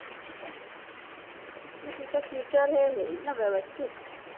तिचा future हे होईल ना वेवस्थित